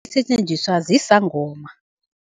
Isetjenziswa zizangoma.